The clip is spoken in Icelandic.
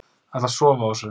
Ætla að sofa á þessu